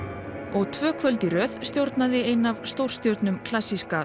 og tvö kvöld í röð stjórnaði ein af stórstjörnum klassíska